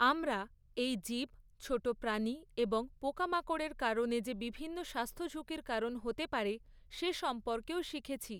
আমরা এই জীব ছোট প্রাণী এবং পোকামাকড়ের কারণে যে বিভিন্ন স্বাস্থ্যঝুঁকির কারণ হতে পারে সে সম্পর্কেও শিখেছি।